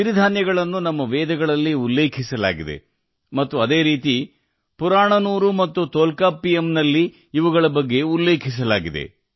ಸಿರಿಧಾನ್ಯಗಳನ್ನು ನಮ್ಮ ವೇದಗಳಲ್ಲಿ ಉಲ್ಲೇಖಿಸಲಾಗಿದೆ ಮತ್ತು ಅದೇ ರೀತಿ ಪುರಾಣನೂರು ಮತ್ತು ತೊಲ್ಕಾಪ್ಪಿಯಂನಲ್ಲಿಯೂ ಉಲ್ಲೇಖಿಸಲಾಗಿದೆ